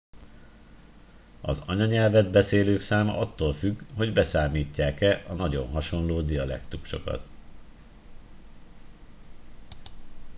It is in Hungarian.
az anyanyelvet beszélők száma attól függ hogy beszámítják e a nagyon hasonló dialektusokat